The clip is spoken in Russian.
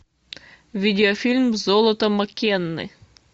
видеофильм золото маккенны